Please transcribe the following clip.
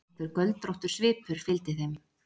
Einhver göldróttur svipur fylgdi þeim.